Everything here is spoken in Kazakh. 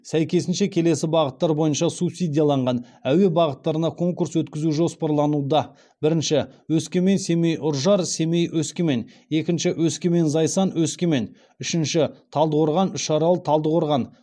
сәйкесінше келесі бағыттар бойынша субсидияланған әуе бағыттарына конкурс өткізу жоспарлануда бірінші өскемен семей үржар семей өскемен екінші өскемен зайсан өскемен үшінші талдықорған үшарал талдықорған